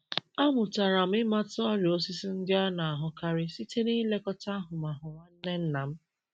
Amụtara m ịmata ọrịa osisi ndị a na-ahụkarị site n’ilekọta ahụmahụ nwanne nna m.